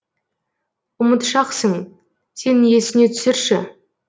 ұмытшақсың сен есіңе түсірші